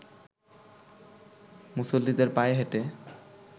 মুসল্লিদের পায়ে হেঁটে